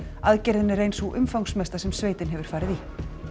aðgerðin er ein sú umfangsmesta sem sveitin hefur farið í